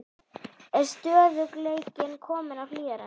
Er stöðugleikinn kominn á Hlíðarenda?